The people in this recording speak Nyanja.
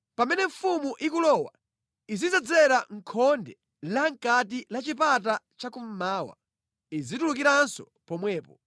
Pamene mfumu ikulowa, izidzera mʼkhonde lamʼkati la chipata chakummawa, izitulukiranso pomwepo.